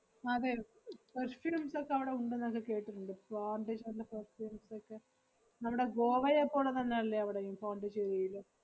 അതെ perfumes ഒക്കെ അവടെ ഉണ്ടെന്നൊക്കെ കേട്ടിട്ടുണ്ട് പോണ്ടി~ ക്കെ നമ്മടെ ഗോവയെ പോലെ തന്നെ അല്ലെ അവടെയും, പോണ്ടിച്ചേരിയില്?